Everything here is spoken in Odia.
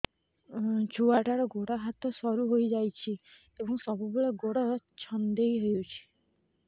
ଛୁଆଟାର ଗୋଡ଼ ହାତ ସରୁ ହୋଇଯାଇଛି ଏବଂ ସବୁବେଳେ ଗୋଡ଼ ଛଂଦେଇ ହେଉଛି